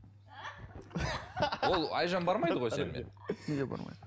ол айжан бармайды ғой сенімен неге бармайды